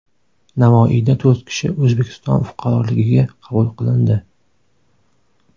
Navoiyda to‘rt kishi O‘zbekiston fuqaroligiga qabul qilindi.